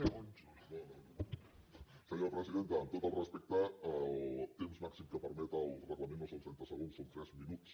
senyora presidenta amb tot el respecte el temps màxim que permet el reglament no són trenta segons són tres minuts